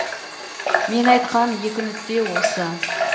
мен айтқан екі нүкте осы